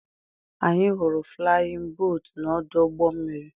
Anyị hụrụ flayin bootu na-ọdụ ụgbọ mmiri.